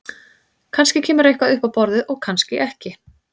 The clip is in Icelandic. Kannski kemur eitthvað upp á borðið og kannski ekki.